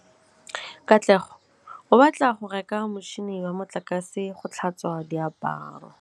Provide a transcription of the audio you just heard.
Katlego o batla go reka motšhine wa motlakase wa go tlhatswa diaparo.